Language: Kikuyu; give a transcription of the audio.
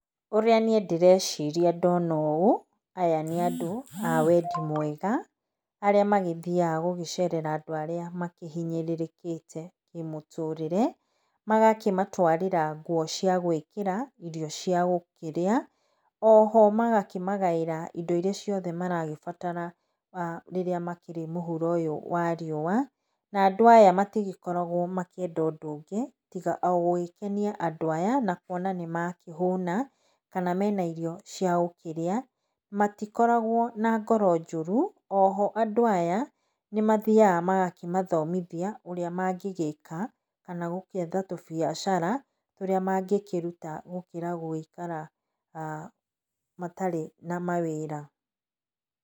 Ũrĩa niĩ ndĩreciria ndona ũũ, aya nĩ andũ a wendi mwega, arĩa magĩthiaga gũgĩcerera andũ arĩa makĩhinyĩrĩkĩte nĩ mũtũrĩre, magakĩmatwarĩra ngũo cia gwĩkĩra, irio cia gũkĩrĩa, oho magakĩmagaĩra indo irĩa maragĩbatara rĩrĩa makĩrĩ mũhuro ũyũ wa riũa, na andũ aya marigĩkoragwo makĩenda ũndũ ũngĩ tiga o gũgĩkenia andũ aya na kuona nĩ makĩhũna, kana mena irio cia gũkĩrĩa. Matikoragwo na ngoro njũru, oho andũ aya, nĩ mathiaga magakĩmathomithia ũrĩa mangĩgĩka, kana gũgietha tũbiacara tũrĩa mangĩkĩruta gũkĩra gũgĩikara matarĩ na mawĩra.